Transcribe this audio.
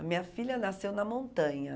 A minha filha nasceu na montanha.